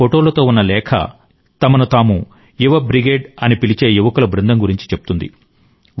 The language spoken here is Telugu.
ఈ ఫోటోలతో ఉన్న లేఖ తమను తాము యువ బ్రిగేడ్ అని పిలిచే యువకుల బృందం గురించి చెప్తుంది